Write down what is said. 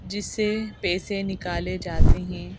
जिससे पैसे निकाले जाते हैं।